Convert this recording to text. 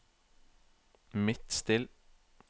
Midtstill